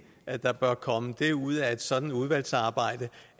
at der bør komme det ud af et sådant udvalgsarbejde